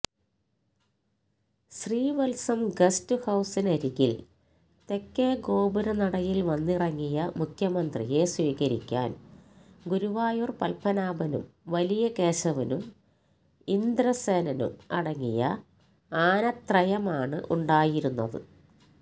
Sreevalsam guest ഹൌസിനരികില് തെക്കേ ഗോപുരനടയില് വന്നിറങ്ങിയ മുഖ്യമന്ത്രിയെ സ്വീകരിക്കാന് ഗുരുവായൂര് പത്മനാഭനും വലിയകേശവനും ഇന്ദ്രസെനും അടങ്ങിയ ആനത്രയമാണ് ഉണ്ടായിരുന്നത്